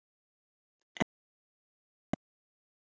En ekki bara hún.